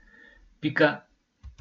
Pika.